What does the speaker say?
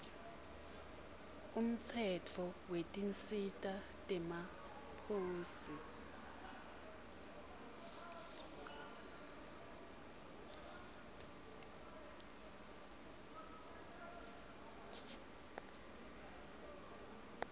umtsetfo wetinsita temaposi